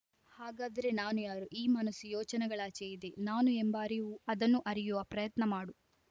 ಹಾಗಾದರೆ ನಾನು ಯಾರು ಈ ಮನಸ್ಸು ಯೋಚನೆಗಳಾಚೆ ಇದೆ ನಾನು ಎಂಬ ಅರಿವು ಅದನ್ನುಅರಿಯುವ ಪ್ರಯತ್ನ ಮಾಡು